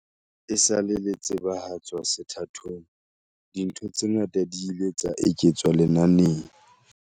Esale le tsebahatswa sethathong, dintho tse ngata di ile tsa eketswa lenaneng.